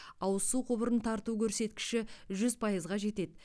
ауыз су құбырын тарту көрсеткіші жүз пайызға жетеді